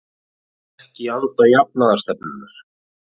Ekki í anda jafnaðarstefnunnar